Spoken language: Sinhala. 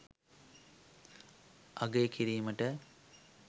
අගය කිරීමට